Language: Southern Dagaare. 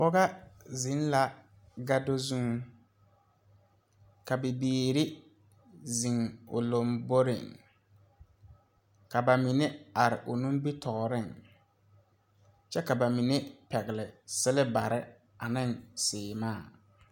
Pɔgɔ zeŋ la gado zuŋ ka bibiire zeŋ o lomboreŋ ka ba mine are o nimitooreŋ kyɛ ka ba mine pɛgle silbarre neŋ sèèmaa.